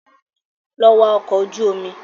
Lọ wá ọkọ̀ ojú omi